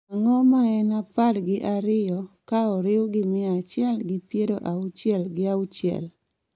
Ang�o ma en apar gi ariyo ka oriw gi mia achiel gi piero auchiel gi auchiel?